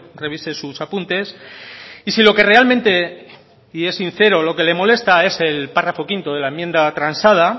revise sus apuntes y si lo que realmente y es sincero lo que le molesta es el párrafo quinto de la enmienda transada